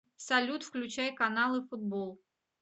салют включай каналы футбол